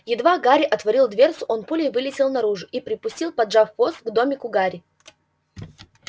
едва гарри отворил дверцу он пулей вылетел наружу и припустил поджав хвост к домику гарри